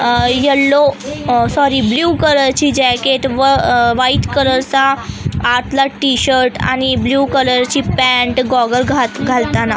अह yellow uh sorry blue colour ची jacket व अह व्हाइट कलर चा आतला टी-शर्ट आणि ब्ल्यु कलर ची पॅंट गॉगल घात-घालताना --